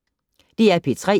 DR P3